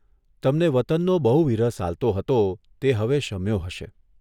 તમને વતનનો બહુ વિરહ સાલતો હતો તે હવે શમ્યો હશે.